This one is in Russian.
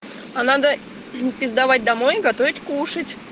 а надо пиздовать домой готовить кушать